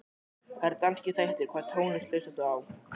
Það eru danskir þættir Hvaða tónlist hlustar þú á?